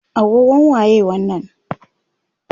agogon waye wannan?